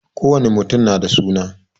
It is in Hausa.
Kowani mutum na da suna